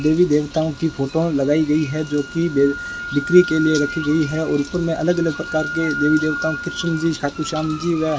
देवी देवताओं की फोटो लगाई गई है जो की बे बिक्री के लिए रखी गई है और ऊपर में अलग-अलग प्रकार के देवी देवताओं कृष्ण जी खाटू श्याम जी व --